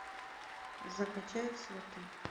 закачай сваты